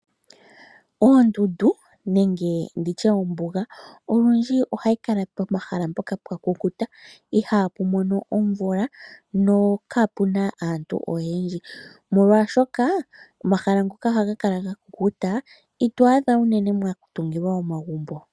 Oondundu, nenge nditye ombuga, olundji ohayi kala pomahala mpoka pwa kukuta., ihapu mono omvula nokapuna aantu oyendji. Molwaashoka omahala ngoka haga kala ga kukuta , ito adha unene mwa tungilwa omagumbo.